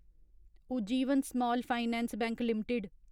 Ujjivan small finance bank limited